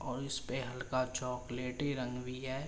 और इस पे हल्का चोकलाेटी रंग भी है।